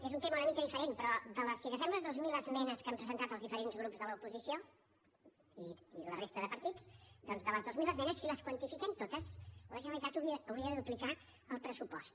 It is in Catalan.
és un tema una mica diferent però si agafem les dues mil esmenes que han presentat els diferents grups de l’oposició i la resta de partits doncs de les dues mil esmenes si les quantifiquem totes la generalitat hauria de duplicar el pressupost